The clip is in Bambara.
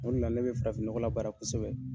O de la ne bɛ farafin nɔgɔ labaara kosɛbɛ